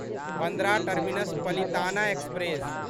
Bandra terminus Palitana express